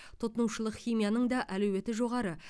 тұтынушылық химияның да әлеуеті жоғары